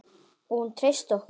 Og hún treysti okkur.